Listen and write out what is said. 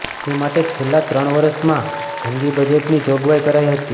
એ માટે છેલ્લાં ત્રણ વર્ષમાં જંગી બજેટની જોગવાઈ કરાઈ હતી